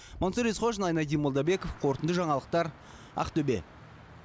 мансұр есқожин айнадин молдабеков қорытынды жаңалықтар ақтөбе